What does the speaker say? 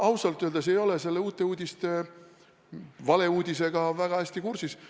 Ma ausalt öeldes ei ole selle Uute Uudiste valeuudisega väga hästi kursis.